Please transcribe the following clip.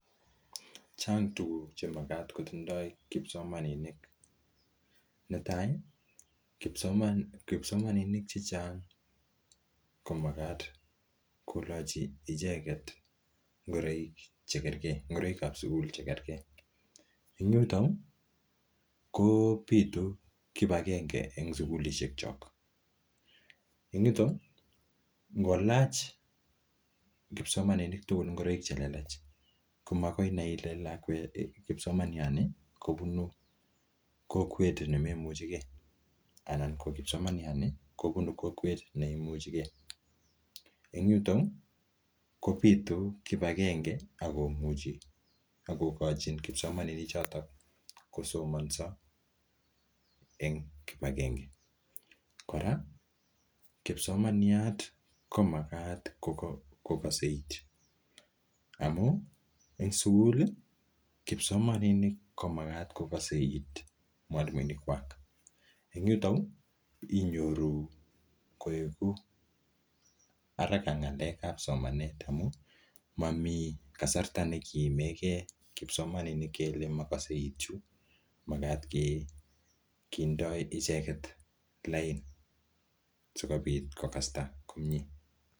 Chang tuguk che magat kotindo kipsomaninik, netai: kipsomaninik che hcnag komagat kolochi icheget ngoroik che kerege, ngoroikab sugul che kerke. En yuto kobitu kipagenge en sugulishekyok. En yuto ngolach kipsomaninik ngoroik chelelach komagoi inai ile kipsomaniani kobunu kowet inoni anan komoimuchege ko kipsomaniani kobunu kokwet neimuchege. Kobitu kipagenge ak kogochin kipsomaninichoto kosomonso en kipagenge. Kora kipsomaniat komagat kogose iit amun en sugul ii. kipsomaninik koomagat kogose it mwalimuinikwak. En yuto inyoru koigu haraka ng'alekab somanet amun mami kasarta ne kiimege kipsomaninik kele mokose iit chu magat ke ndoi ichegte lain sikobit kogasta komie.